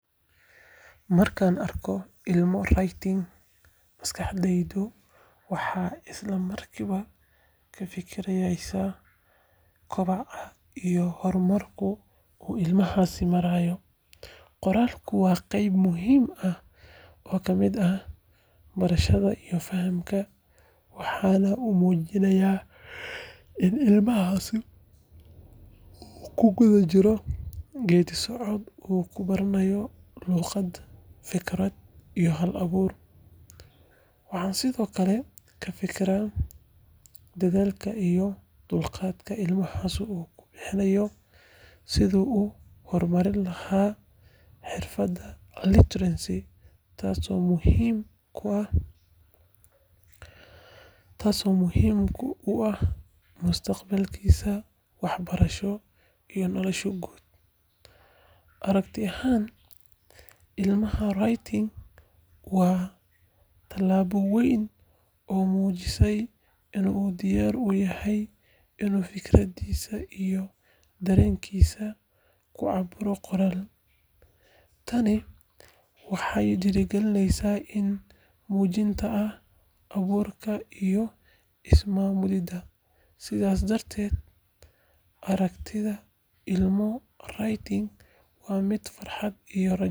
Markaan arko ilmo writing, maskaxdaydu waxay isla markiiba ka fikireysaa koboca iyo horumarka uu ilmahaasi marayo. Qoraalku waa qayb muhiim ah oo ka mid ah barashada iyo fahamka, waxaana uu muujinayaa in ilmahaasi uu ku guda jiro geeddi-socod uu ku baranayo luuqad, fikrad, iyo hal-abuur. Waxaan sidoo kale ka fikiraa dadaalka iyo dulqaadka ilmahaasi ku bixinayo sidii uu u horumarin lahaa xirfadda literacy, taasoo muhiim u ah mustaqbalkiisa waxbarasho iyo nolosha guud. Aragti ahaan, ilmaha writing waa tallaabo weyn oo muujinaysa in uu diyaar u yahay inuu fikradihiisa iyo dareenkiisa ku cabbiro qoraal. Tani waxay dhiirrigelisaa is-muujinta, hal-abuurka, iyo is-maamulida. Sidaas darteed, aragtida ilmo writing waa mid farxad iyo rajo leh.